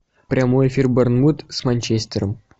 прямой эфир борнмут с манчестером